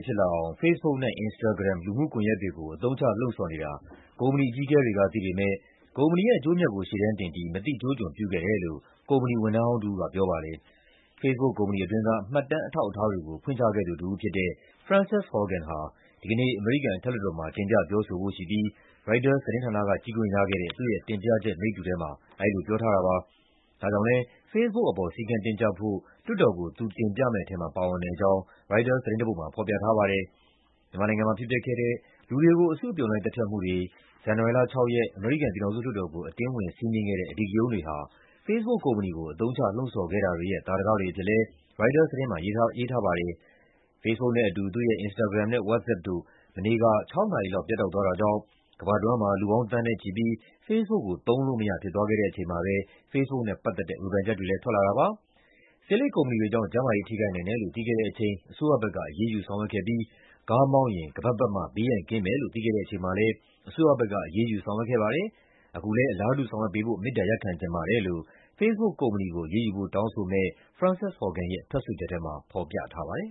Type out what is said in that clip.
ဖြစ်လာအောင် Facebook နဲ့ Instagram လူမှုကွန်ရက်တွေကို အသုံးချ လှုံ့ဆော်နေတာကို ကုမ္ပဏီအကြီးအကဲတွေက သိပေမယ့် ကုမ္ပဏီရဲ့အကျိုးအမြတ်ကို ရှေ့တန်းတင်ပြီး မသိကျိုးကျွံပြုခဲ့တယ်လို့ ကုမ္ပဏီဝန်ထမ်းဟောင်းတဦးက ပြောပါတယ်။ Facebook ကုမ္ပဏီအတွင်းက မှတ်တမ်းအထောက်အထားတွေကို ဖွင့်ချခဲ့သူတဦးဖြစ်တဲ့ Frances Haugen ဟာ ဒီကနေ့ အမေရိကန်အထက်လွှတ်တော်မှာ တင်ပြ ပြောဆိုဖို့ရှိပြီး ရိုက်တာသတင်းဌာနက ကြည့်ခွင့်ရခဲ့တဲ့ သူ့ရဲ့တင်ပြချက်မိတ္တူထဲမှာ အဲဒီလိုပြောထားတာပါ။ ဒါကြောင့်လည်း Facebook အပေါ် စည်းကမ်းတင်းကျပ်ဖို့ လွှတ်တော်ကို သူတင်ပြမယ့်ထဲမှာ ပါဝင်တဲ့အကြောင်း ရိုက်တာသတင်းတပုဒ်မှာ ဖော်ပြထားပါတယ်။ မြန်မာနိုင်ငံမှာဖြစ်ပျက်ခဲ့ဲ့တဲ့ လူတွေကို အစုအပြုံလိုက် သတ်ဖြတ်မှုတွေ၊ ဇန်နဝါရီလ ၆ ရက် အမေရိကန် ပြည်ထောင်စုလွှတ်တော်ကို အတင်းဝင်စီးနင်းခဲ့တဲ့ အဓိကရုဏ်းတွေဟာ Facebook ကုမ္ပဏီကို အသုံးချ လှုံ့ဆော်ခဲ့တာတွေရဲ့ သာဓကတွေအဖြစ်လည်း ရိုက်တာသတင်းမှာ ရေးသားထားပါတယ်။ Facebook နဲ့အတူ သူ့ရဲ့ Instagram နဲ့ WhatsApp တို့ မနေ့က ၆ နာရီလောက် ပြတ်တောက်သွားတာကြောင့် ကမ္ဘာတဝန်းမှာ လူပေါင်း သန်းနဲ့ချီပြီး Facebook ကို သုံးလို့မရ ဖြစ်သွားခဲ့တဲ့အချိန်မှာပဲ Facebook နဲ့ ပတ်သက်လို့ ဝေဖန်ချက်တွေလည်း ထွက်လာတာပါ။ "ဆေးလိပ်ကုမ္ပဏီတွေကြောင့် ကျန်းမာရေးထိခိုက်နိုင်တယ်လို့ သိခဲ့တဲ့အချိန်၊ အစိုးရဘက်က အရေးယူ ဆောင်ရွက်ခဲ့ပြီး ကားမောင်းရင် ခါးပတ်ပတ်မှ ဘေးရန် ကင်းမယ်လို့ သိခဲ့တဲ့အချိန်မှာလည်း အစိုးရဘက်က အရေးယူ ဆောင်ရွက်ခဲ့ပါတယ်။ အခုလည်း အလားတူ ဆောင်ရွက်ပေးဖို့ မေတ္တာရပ်ခံချင်ပါတယ်” လို့ Facebook ကုမ္ပဏီကို အရေးယူဖို့ တောင်းဆိုမယ့် Frances Haugen ရဲ့ ထွက်ဆိုချက်ထဲမှာ ဖော်ပြထားပါတယ်